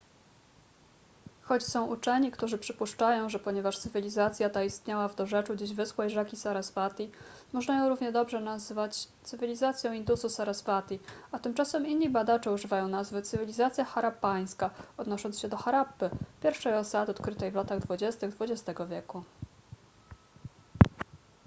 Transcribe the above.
choć są uczeni którzy przypuszczają że ponieważ cywilizacja ta istniała w dorzeczu dziś wyschłej rzeki saraswati można ją równie dobrze nazywać cywilizacją indusu-saraswati a tymczasem inni badacze używają nazwy cywilizacja harappańska odnosząc się do harappy pierwszej osady odkrytej w latach 20 xx wieku